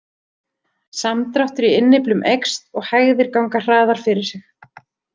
Samdráttur í innyflum eykst og hægðir ganga hraðar fyrir sig.